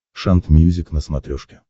шант мьюзик на смотрешке